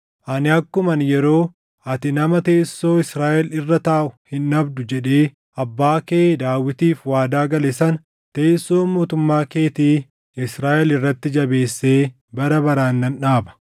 ani akkuman yeroo, ‘Ati nama teessoo Israaʼel irra taaʼu hin dhabdu’ jedhee abbaa kee Daawitiif waadaa gale sana teessoo mootummaa keetii Israaʼel irratti jabeessee bara baraan nan dhaaba.